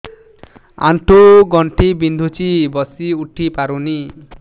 ଆଣ୍ଠୁ ଗଣ୍ଠି ବିନ୍ଧୁଛି ବସିଉଠି ପାରୁନି